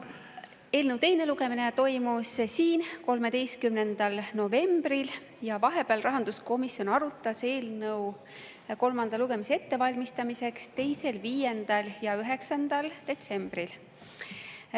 Eelnõu teine lugemine toimus siin 13. novembril ja vahepeal rahanduskomisjon arutas eelnõu, selle kolmandat lugemist ette valmistades, 2., 5. ja 9. detsembril.